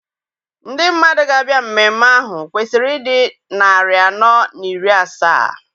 Ndị mmadụ ga-abịa mmemme ahụ kwesịrị ịdị narị anọ na iri asaa.